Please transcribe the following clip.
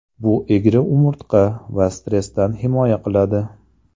Bu egri umurtqa va stressdan himoya qiladi.